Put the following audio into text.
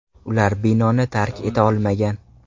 Ular binoni tark eta olmagan.